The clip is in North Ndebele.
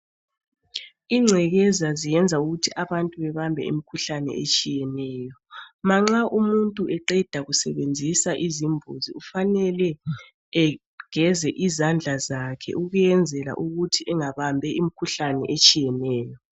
Ingcekeza ziyenza ukuthi abantu babambe imikhuhlane etshiyeneyo. Manxa umuntu eqeda ukusebenzisa izambuzi kufanele egeze izandla zakhe ukuyenzela ukuthi engabambi imikhuhlane etshiyeneyo.